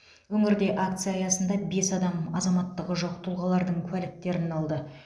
өңірде акция аясында бес адам азаматтығы жоқ тұлғалардың куәліктерін алды